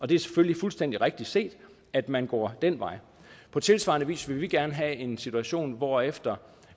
det er selvfølgelig fuldstændig rigtig set at man går den vej på tilsvarende vis vil vi gerne have en situation hvorefter